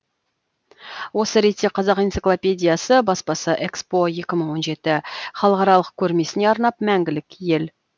осы ретте қазақ энциклопедиясы баспасы экспо екі мың он жеті халықаралық көрмесіне арнап мәңгілік ел